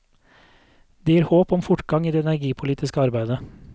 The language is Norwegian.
Det gir håp om fortgang i det energipolitiske arbeidet.